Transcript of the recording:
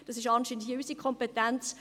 Dies ist anscheinend unsere Kompetenz.